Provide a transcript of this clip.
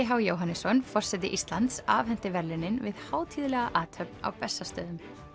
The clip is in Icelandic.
h Jóhannesson forseti Íslands afhenti verðlaunin við hátíðlega athöfn á Bessastöðum